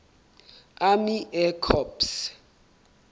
army air corps